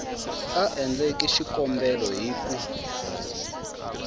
a endleke xikombelo hi ku